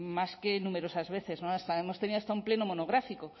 más que numerosas veces hemos tenido hasta un pleno monográfico